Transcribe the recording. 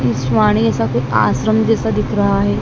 इस वाणी ऐसा कोई आश्रम जैसा दिख रहा है।